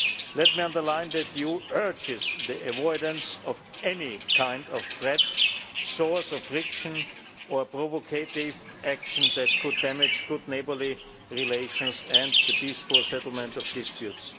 Let me underline that the EU urges the avoidance of any kind of threat, source of friction or provocative action that could damage good neighbourly relations and the peaceful settlements of disputes.